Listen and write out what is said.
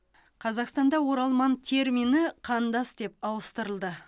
қазақстанда оралман термині қандас деп ауыстырылды